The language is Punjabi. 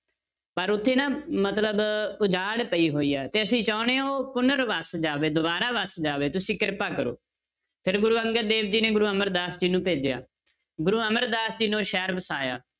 ਪਰ ਉੱਥੇ ਨਾ ਮਤਲਬ ਉਜਾੜ ਪਈ ਹੋਈ ਹੈ ਤੇ ਅਸੀਂ ਚਾਹੁੰਦੇ ਹਾਂ ਉਹ ਪੁਨਰ ਵਸ ਜਾਵੇ ਦੁਬਾਰਾ ਵਸ ਜਾਵੇ ਤੁਸੀਂ ਕਿਰਪਾ ਕਰੋ, ਫਿਰ ਗੁਰੂ ਅੰਗਦ ਦੇਵ ਜੀ ਨੇ ਗੁਰੂ ਅਮਰਦਾਸ ਜੀ ਨੂੰ ਭੇਜਿਆ, ਗੁਰੂ ਅਮਰਦਾਸ ਜੀ ਨੇ ਉਹ ਸ਼ਹਿਰ ਵਸਾਇਆ।